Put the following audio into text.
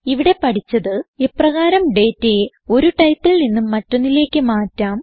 ഇവിടെ പഠിച്ചത് എപ്രകാരം ഡേറ്റയെ ഒരു ടൈപ്പിൽ നിന്ന് മറ്റൊന്നിലേക്ക് മാറ്റാം